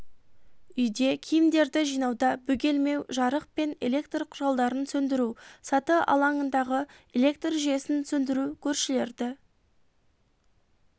үйде киімдерді жинауда бөгелмеу жарық пен электр құралдарын сөндіру саты алаңындағы электр жүйесін сөндіру көршілерді